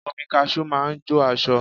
Omi kaṣú máa ń jó aṣọ